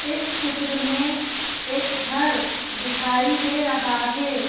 इस चित्र में एक घर दिखाई दे रहा हैं।